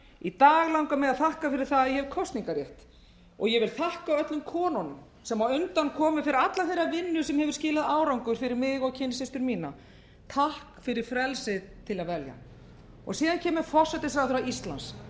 í dag langar mig að þakka fyrir að ég hef kosningarrétt ég vil þakka öllum konunum sem á undan komu fyrir alla þeirra vinnu sem hefur skilað árangri fyrir mig og kynsystur mínar takk fyrir frelsið til að velja síðan kemur forsætisráðherra íslands